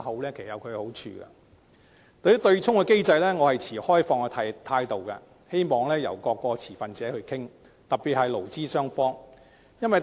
至於對沖機制，我是抱持開放態度的，希望各個持份者可以一起討論，特別是勞資雙方。